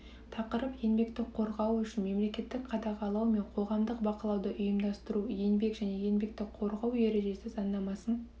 тақырып еңбекті қорғау үшін мемлекеттік қадағалау мен қоғамдық бақылауды ұйымдастыру еңбек және еңбекті қорғау ережесі заңнамасын